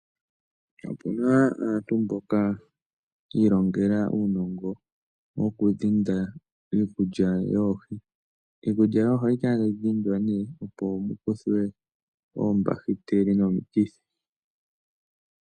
Opu na aantu mboka yi ilongela uunongo wokudhinda iikulya yoohi. Iikulya yoohi ohayi kala tayi dhindwa, opo mu kuthwe oombahiteli nomikithi.